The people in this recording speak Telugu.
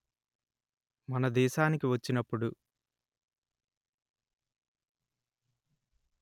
మన దేశానికి వచ్చినప్పుడు